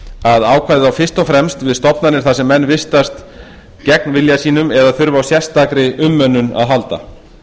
að ákvæðið á fyrst og fremst við stofnanir þar sem menn vistast gegn vilja sínum eða þurfa á sérstakri umönnun að halda